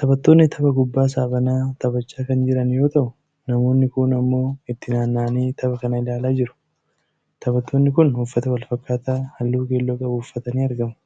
Taphattoonni tapha kubbaa saaphanaa taphachaa kan jiran yoo ta'uu namoonni kuun ammoo itti naanna'anii tapha kana ilaalaa jiru. Taphattoonni kun uffata walfakkaataa halluu keelloo qabu uffatanii argamu.